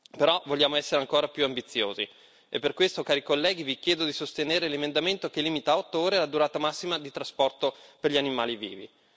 Però vogliamo essere ancora più ambiziosi, e per questo, cari colleghi, vi chiedo di sostenere l'emendamento che limita a otto ore la durata massima di trasporto per gli animali vivi.